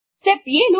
step 7